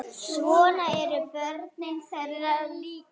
Svona eru börnin þeirra líka.